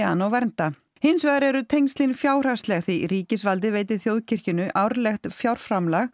hana og vernda hins vegar eru tengslin fjárhagsleg því ríkisvaldið veitir þjóðkirkjunni árlegt fjárframlag